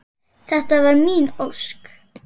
. þetta var mín ósk.